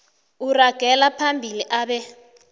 uragela phambili abe